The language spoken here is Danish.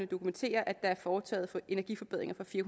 dokumentere at der er foretaget energiforbedringer for fire